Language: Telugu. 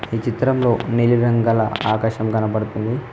ఈ చిత్రంలో నీలి రంగుల ఆకాశం కనబడుతుంది.